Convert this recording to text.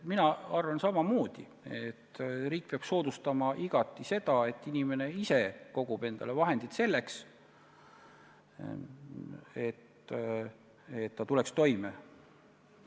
Mina arvan samamoodi, et riik peaks igati soodustama seda, et inimene ise koguks endale vahendid selleks, et ta tuleks toime.